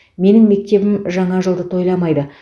менің мектебім жаңа жылды тойламайды